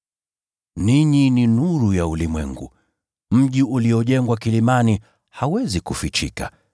“Ninyi ni nuru ya ulimwengu. Mji uliojengwa kilimani hauwezi kufichika.